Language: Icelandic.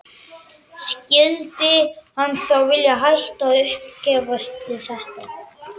Skyldi hann þá vilja hætta og uppgefast við þetta?